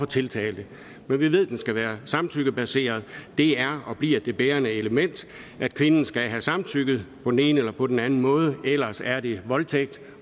tiltalte men vi ved den skal være samtykkebaseret det er og bliver det bærende element at kvinden skal have samtykket på den ene eller på den anden måde ellers er det voldtægt